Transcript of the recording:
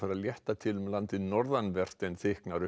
að létta til um landið norðanvert en þykknar upp